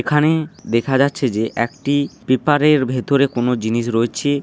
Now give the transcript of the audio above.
এখানে দেখা যাচ্ছে যে একটি পেপার এর ভেতরে কোন জিনিস রয়েছে।